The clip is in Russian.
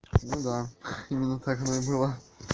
ну да именно так оно и было